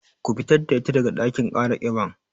Ku fitar da ita daga ɗakin kara kiban